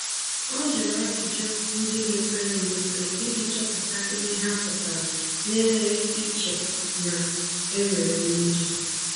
Ọ jụrụ ajụjụ ndị mepere emepe iji chọpụta ihe ha pụtara na-enweghị iche na e nwere mmejọ.